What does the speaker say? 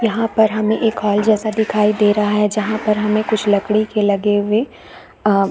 यह पर हमें एक हॉल जैसा दिखाई दे रहा है जहाँ पर हमें कुछ लकड़ी के लगे हुए अ --